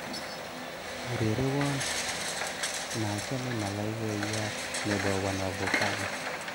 Urerewon nachame malaikaiyat nebo wanavokali